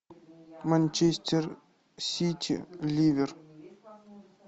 манчестер сити ливер